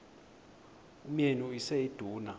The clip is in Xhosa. umyeni uyise iduna